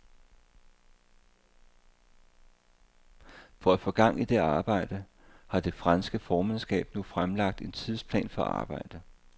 For at få gang i det arbejde, har det franske formandskab nu fremlagt en tidsplan for arbejdet.